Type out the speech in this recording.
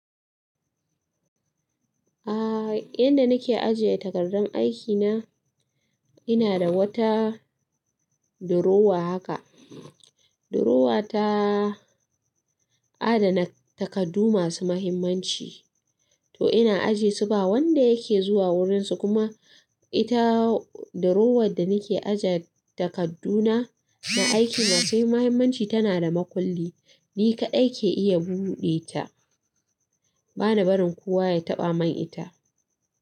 A inda nake ajiye takardar aikina, ina da wata durowa haka. Durowa ta adana takardu masu muhimmanci, to ina ajesu ba wanda yake zuwa wurinsu. Kuma ita durowar da nake aje takadduna na aiki masu muhimmanci tana da makulli, ni kaɗai ke iya buɗe ta, bana barin kowa ya taɓa man ita.